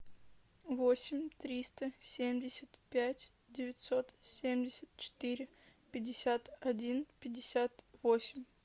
восемь триста семьдесят пять девятьсот семьдесят четыре пятьдесят один пятьдесят восемь